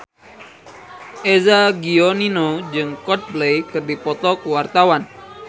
Eza Gionino jeung Coldplay keur dipoto ku wartawan